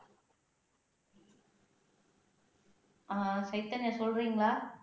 ஆஹ் சைதன்யா சொல்றீங்களா